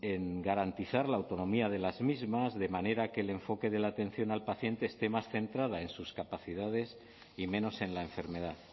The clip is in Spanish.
en garantizar la autonomía de las mismas de manera que el enfoque de la atención al paciente esté más centrada en sus capacidades y menos en la enfermedad